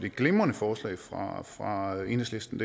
et glimrende forslag fra fra enhedslisten